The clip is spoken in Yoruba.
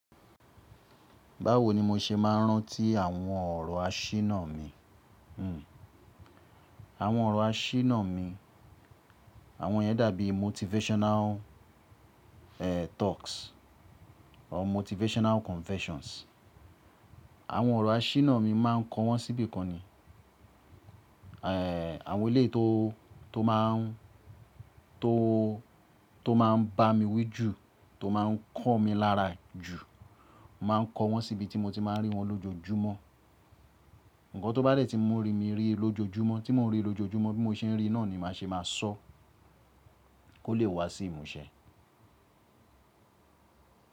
Báwo ni mo ṣe máa ń rántí àwọn ọ̀rọ̀ àṣínà mi? Hmm. Àwọn ọ̀rọ̀ àṣínà mi, àwọn yẹn dàbí motivational, eeh, talks or motivational confessions. Àwọn ọ̀rọ̀ àṣínà mi, máa ń kọ wọ́n síbi kan ni. Eeh, àwọn eleyi tó, tó máa ń, tó, tó máa ń bá mi wí jù, tó máa ń kọ̀ mí lára jù, màá ń kọ wọ́n síbi tí mo ti máa ń rí wọn lójoójúmọ́. Ǹnkan tó bá dẹ̀ tí mu rí mi rí lójoójúmọ́, tí mò ń rí lójoójúmọ́, bí mo ṣe ń rí náà ni màá ṣe máa sọ kó lè wá sí ìmúṣẹ.